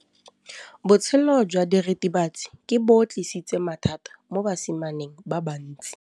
Botshelo jwa diritibatsi ke bo tlisitse mathata mo basimaneng ba bantsi.